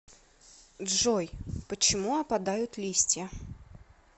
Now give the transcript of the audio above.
джой почему опадают листья